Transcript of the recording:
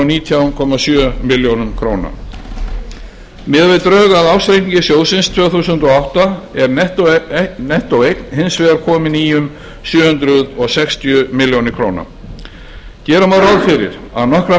nítján komma sjö milljónir króna miðað við drög að ársreikningi sjóðsins tvö þúsund og átta er nettóeign hins vegar komin í um sjö hundruð sextíu milljónir gera má ráð fyrir að nokkra